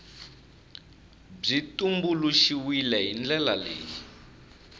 byi tumbuluxiwile hi ndlela leyi